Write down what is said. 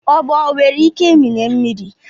ogbo onwere ike ịmịnye mmiri